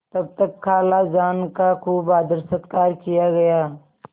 तब तक खालाजान का खूब आदरसत्कार किया गया